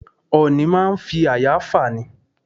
Ọ̀ọ̀nì máa ń fi àyà fà ni.